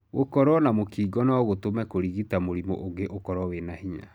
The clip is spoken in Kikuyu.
Gũkoro na mũkingo no gũtũme kũrigita mũrimũ ũngĩ ũkoro wina hinya.